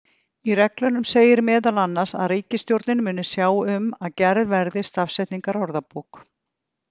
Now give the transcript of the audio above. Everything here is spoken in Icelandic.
Í reglunum segir meðal annars að ríkisstjórnin muni sjá um að gerð verði stafsetningarorðabók.